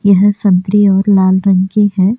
यह संतरी और लाल रंग की है।